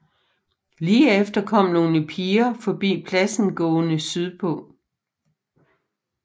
Lige efter kom nogle piger forbi pladsen gående sydpå